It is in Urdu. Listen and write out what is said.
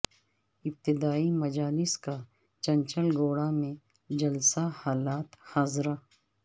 ابتدائی مجالس کا چنچل گوڑہ میں جلسہ حالات حاضرہ